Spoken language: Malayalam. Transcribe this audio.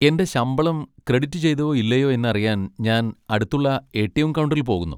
എന്റെ ശമ്പളം ക്രെഡിറ്റ് ചെയ്തോ ഇല്ലയോ എന്നറിയാൻ ഞാൻ അടുത്തുള്ള എ.ടി.എം. കൗണ്ടറിൽ പോകുന്നു.